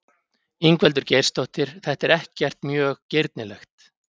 Ingveldur Geirsdóttir: Þetta er ekkert mjög girnilegt?